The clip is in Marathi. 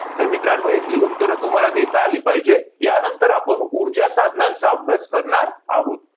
तर मित्रांनो, याची उत्तरं तुम्हाला देता आली पाहिजे. यानंतर आपण ऊर्जासाधनांचा अभ्यास करणार आहोत.